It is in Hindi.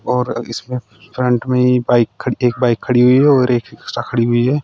और इसने फ्रंट में ही बाइक खड़ी एक बाइक खड़ी हुई है और एक रिक्शा खड़ी हुई है।